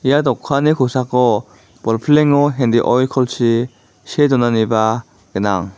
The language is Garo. ia dokanni kosako bolpilengo hendi oilkolchi see donaniba gnang.